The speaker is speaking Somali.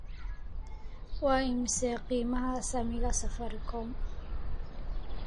Waa imisa qiimaha saamiga safaricom?